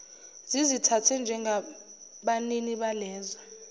zizithathe njengabanini balezo